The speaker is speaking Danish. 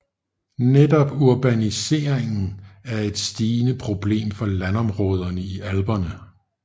Netop urbaniseringen er et stigende problem for landområderne i Alperne